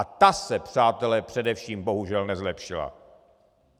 A ta se, přátelé, především bohužel nezlepšila!